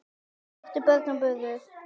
áttu börn og burur